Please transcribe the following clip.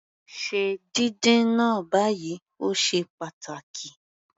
Se díndín náà báyìí, o ṣe pàtàkì.